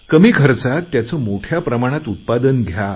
कमी खर्चात त्याचं मोठ्या प्रमाणात उत्पादन घ्या